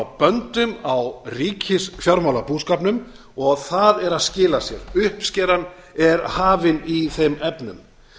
böndum á ríkisfjármálabúskapnum og það er að skila sér uppskeran er hafin í þeim efnum